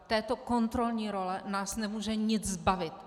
Této kontrolní role nás nemůže nic zbavit.